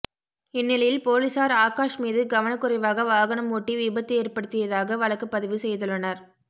இந்நிலையில் போலீசார் ஆகாஷ் மீது கவனக்குறைவாக வாகனம் ஓட்டி விபத்து ஏற்படுத்தியதாக வழக்குப் பதிவு செய்துள்ளனர்